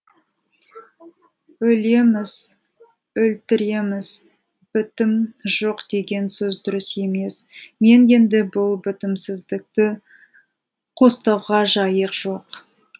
өлеміз өлтіреміз бітім жоқ деген сөз дұрыс емес мен енді бұл бітімсіздікті қостауға жайық жоқ